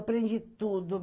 Aprendi tudo.